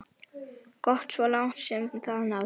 Gott svo langt sem það náði.